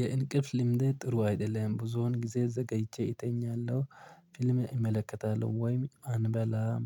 የእንቅልፍ ልምዴ ጥሩ አይደለም ብዙውን ጊዜ ዘገይቼ እተኛለሁ። ፊልም ኢመለከታለሁ ወይም አንበላም።